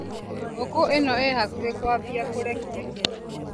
Ngũkũ ĩno ĩ hakuhĩ kwambia kũrekia.